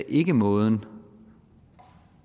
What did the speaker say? ikke er måden